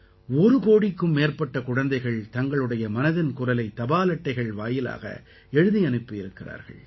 ஒரு கோடிக்கும் மேற்பட்ட குழந்தைகள் தங்களுடைய மனதின் குரலை தபால் அட்டை வாயிலாக எழுதி அனுப்பி இருக்கிறார்கள்